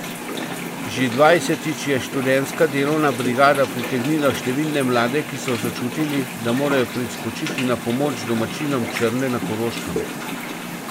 Že dvajsetič je študentska delovna brigada pritegnila številne mlade, ki so začutili, da morajo priskočiti na pomoč domačinom Črne na Koroškem.